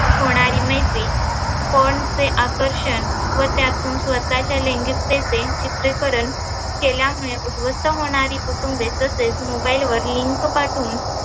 होणारी मैत्री porn चे आकर्षन व त्यातून स्वतःच्या लैंगीकतेचे चित्रीकरण केल्यामुले उधवस्त होणारी कुटूंबे तसेच mobile वर link पाठवून